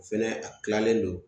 O fɛnɛ a kilalen don.